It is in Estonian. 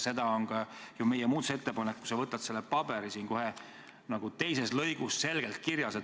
See on ka ju meie muudatusettepanekus, kui sa võtad selle paberi, kohe teises lõigus selgelt kirjas.